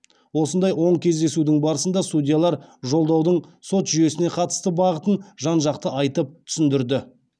осындай он кездесудің барысында судьялар жолдаудың сот жүйесіне қатысты бағытын жан жақты айтып түсіндірді